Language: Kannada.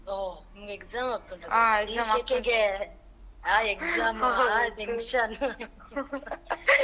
ಹೋ ನಿನ್ಗೆ exam ಆಗ್ತಾ ಉಂಟಾ .